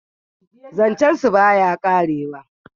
zancen su ba ya karewa